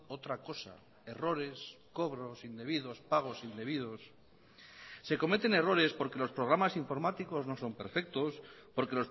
otra cosa errores cobros indebidos pagos indebidos se cometen errores porque los programas informáticos no son perfectos porque